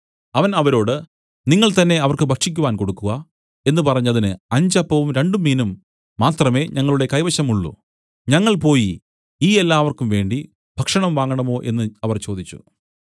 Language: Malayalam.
അവൻ അവരോട് നിങ്ങൾ തന്നേ അവർക്ക് ഭക്ഷിക്കുവാൻ കൊടുക്കുക എന്നു പറഞ്ഞതിന് അഞ്ചപ്പവും രണ്ടുമീനും മാത്രമേ ഞങ്ങളുടെ കൈവശം ഉള്ളൂ ഞങ്ങൾ പോയി ഈ എല്ലാവർക്കുംവേണ്ടി ഭക്ഷണം വാങ്ങണോ എന്നു അവർ ചോദിച്ചു